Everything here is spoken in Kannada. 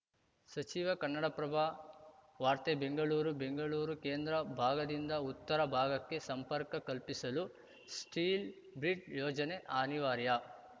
ಸಚಿವ ಕನ್ನಡಪ್ರಭ ವಾರ್ತೆ ಬೆಂಗಳೂರು ಬೆಂಗಳೂರು ಕೇಂದ್ರ ಭಾಗದಿಂದ ಉತ್ತರ ಭಾಗಕ್ಕೆ ಸಂಪರ್ಕ ಕಲ್ಪಿಸಲು ಸ್ಟೀಲ್‌ ಬ್ರಿಡ್‌ ಯೋಜನೆ ಅನಿವಾರ್ಯ